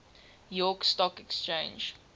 york stock exchange